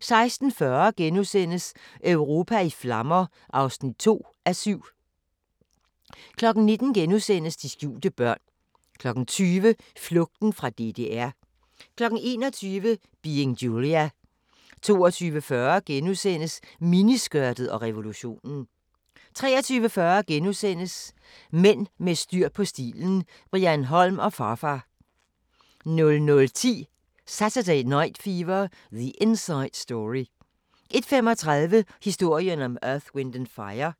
16:40: Europa i flammer (2:7)* 19:00: De skjulte børn * 20:00: Flugten fra DDR 21:00: Being Julia 22:40: Miniskørtet og revolutionen * 23:40: Mænd med styr på stilen – Brian Holm & Pharfar * 00:10: Saturday Night Fever: The Inside Story 01:35: Historien om Earth, Wind and Fire